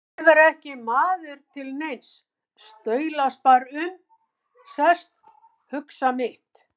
Ég er ekki maður til neins, staulast bara um, sest, hugsa mitt.